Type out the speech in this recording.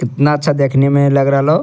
कितना अच्छा देखने में लग रहलो।